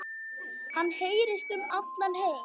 Hann heyrist um allan heim.